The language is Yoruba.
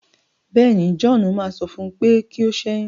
béèni, John má sọ fún u pé kí o ṣẹyun.